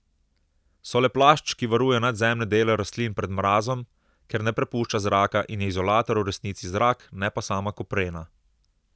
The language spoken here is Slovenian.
So le plašč, ki varuje nadzemne dele rastlin pred mrazom, ker ne prepušča zraka in je izolator v resnici zrak, ne pa sama koprena.